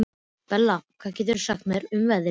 Bella, hvað geturðu sagt mér um veðrið?